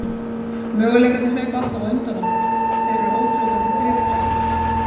Möguleikarnir hlaupa alltaf undan okkur, þeir eru óþrjótandi drifkraftur.